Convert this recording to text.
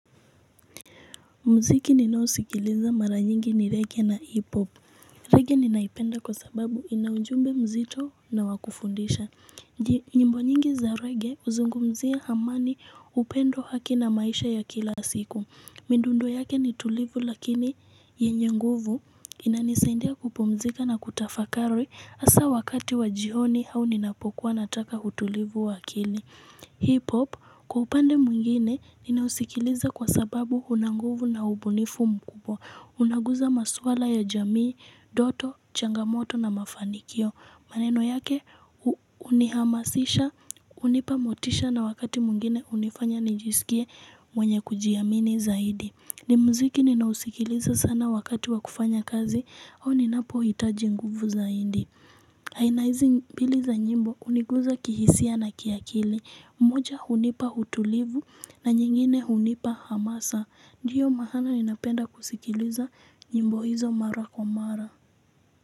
Mziki ninaosikiliza mara nyingi ni reggae na hiphop. Reggae ninaipenda kwa sababu inaujumbe mzito na wakufundisha. Nyimbo nyingi za reggae huzungumzia amani. Upendo. Haki na maisha ya kila siku. Mindundo yake nitulivu lakini yenye nguvu inanisaindia kupumzika na kutafakari hasa wakati wa jioni au ninapokuwa nataka utulivu wa akili. Hip-hop kwa upande mwingine ninausikiliza kwa sababu unanguvu na ubunifu mkubwa. Unaguza maswala ya jamii, ndoto, changamoto na mafanikio. Maneno yake unihamasisha, hunipa motisha na wakati mwingine hunifanya nijisikie mwenye kujiamini zaidi. Ni mziki ninaousikiliza sana wakati wa kufanya kazi au ninapohitaji nguvu zaidi. Aina hizi mbili za nyimbo huniguza kihisia na kiakili, moja hunipa utulivu na nyingine hunipa hamasa. Ndiyo maaana ninapenda kusikiliza nyimbo hizo mara kwa mara.